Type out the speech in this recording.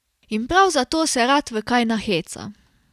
In prav zato se rad v kaj naheca.